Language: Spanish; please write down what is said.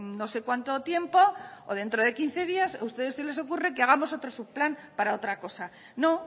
no sé cuánto tiempo o dentro de quince días a ustedes se les ocurre que hagamos otro subplan para otra cosa no